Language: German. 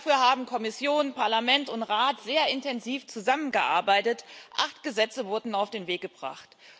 Dafür haben Kommission, Parlament und Rat sehr intensiv zusammengearbeitet Acht Gesetze wurden auf den Weg gebracht.